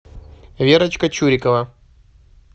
верочка чурикова